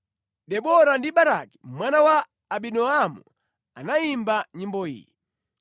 “Tsiku limenelo Debora ndi Baraki mwana wa Abinoamu anayimba nyimbo iyi: